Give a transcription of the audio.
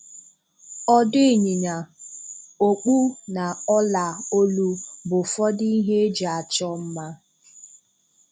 Ọdụ̀ ịnyịnya, okpù na ọ̀là olu bụ ụfọdụ ihe eji achọ mma.